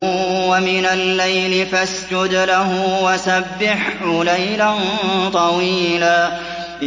وَمِنَ اللَّيْلِ فَاسْجُدْ لَهُ وَسَبِّحْهُ لَيْلًا طَوِيلًا